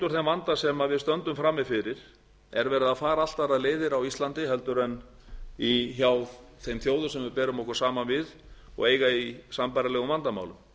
úr þeim vanda sem við stöndum frammi fyrir er verið að fara allt aðrar leiðir á íslandi en hjá þeim þjóðum sem við berum okkur saman við og eiga í sambærilegum vandamálum